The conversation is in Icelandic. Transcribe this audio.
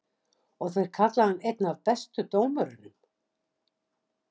Og þeir kalla hann einn af bestu dómurunum?